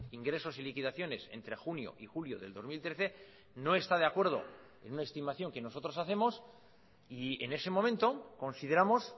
ingresos y liquidaciones entre junio y julio del dos mil trece no está de acuerdo en una estimación que nosotros hacemos y en ese momento consideramos